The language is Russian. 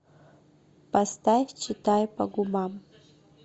поставь читай по губам